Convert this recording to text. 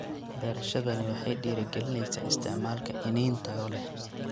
Beerashadani waxay dhiirigelinaysaa isticmaalka iniin tayo leh.